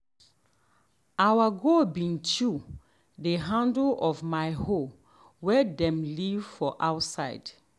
our goat bin chew the handle of um my hoe way um dem leave outside.